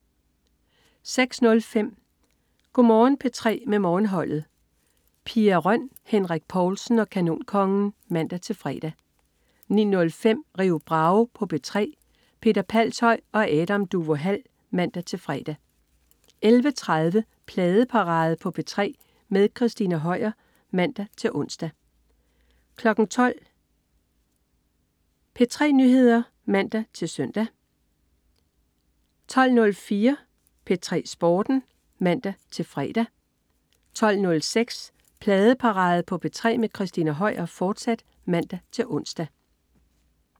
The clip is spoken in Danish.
06.05 Go' Morgen P3 med Morgenholdet. Pia Røn, Henrik Povlsen og Kanonkongen (man-fre) 09.05 Rio Bravo på P3. Peter Palshøj og Adam Duvå Hall (man-fre) 11.30 Pladeparade på P3 med Christina Høier (man-ons) 12.00 P3 Nyheder (man-søn) 12.04 P3 Sporten (man-fre) 12.06 Pladeparade på P3 med Christina Høier, fortsat (man-ons)